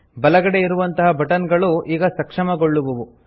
ಬಲಗಡೆ ಇರುವಂತ ಬಟನ್ ಗಳು ಈಗ ಸಕ್ಷಮಗೊಳ್ಳುವುವು